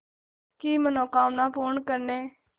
की मनोकामना पूर्ण करने